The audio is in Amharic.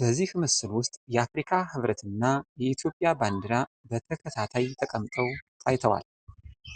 በዚህ ምስል ውስጥ የአፍሪካ ህብረት እና የኢትዮጵያ ባንዲራ በተከታታይ ተቀምጠው ታይተዋል።